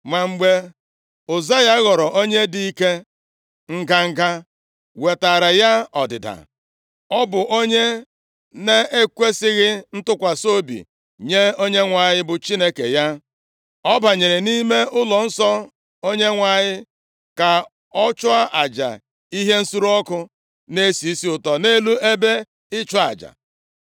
Ma mgbe Ụzaya ghọrọ onye dị ike, nganga wetaara ya ọdịda. Ọ bụ onye na-ekwesighị ntụkwasị obi nye Onyenwe anyị bụ Chineke ya, ọ banyere nʼime ụlọnsọ Onyenwe anyị ka ọ chụọ aja ihe nsure ọkụ na-esi isi ụtọ nʼelu ebe ịchụ aja.